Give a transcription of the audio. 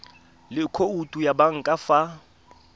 le khoutu ya banka fa